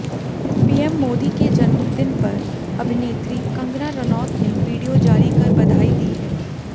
PM Modi के जन्मदिन पर अभिनेत्री कंगना रनौत ने वीडियो जारी कर बधाई दी है